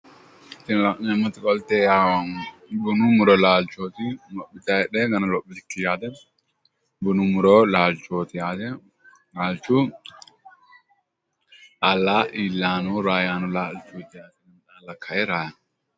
Tini la'neemmoti qolte yawuu gumu muro laalchooti. Lophitayi heedheenano lophitukki yaate gumu muro laalchooti yaate laalchu xaalla illayi nooro raayaanni no yaate.